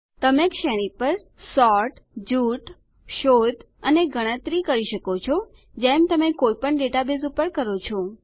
તમે શ્રેણી પર સોર્ટ જૂથ શોધ અને ગણતરી કરી શકો છો જેમ તમે કોઈપણ ડેટાબેઝ પર કરો છો